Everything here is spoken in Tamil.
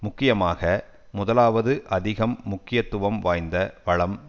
முக்கியமாக முதலாவது அதிகம் முக்கியத்துவம் வாய்ந்த வளம்